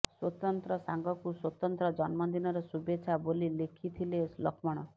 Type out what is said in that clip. ସ୍ବତନ୍ତ୍ର ସାଙ୍ଗକୁ ସ୍ବତନ୍ତ୍ର ଜନ୍ମଦିନର ଶୁଭେଚ୍ଛା ବୋଲି ଲେଖିଥିଲେ ଲକ୍ଷ୍ମଣ